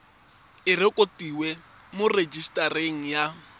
e rekotiwe mo rejisetareng ya